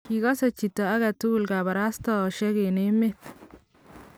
kikose chito age tugul kabarastaosiek eng emet